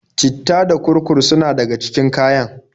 citta da kurkur suna daga cikin kayan.